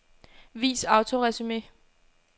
Vis autoresumé.